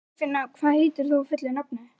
Geirfinna, hvað heitir þú fullu nafni?